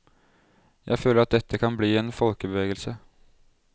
Jeg føler at dette kan bli en folkebevegelse.